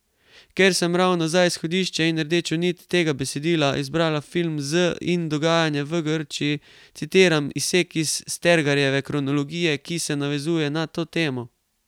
Ker sem ravno za izhodišče in rdečo nit tega besedila izbrala film Z in dogajanje v Grčiji, citiram izsek iz Stergarjeve kronologije, ki se navezuje na to temo.